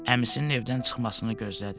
Əmisinin evdən çıxmasını gözlədi.